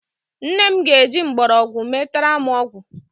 Nne m ga-eji mgbọrọgwụ metara m ọgwụ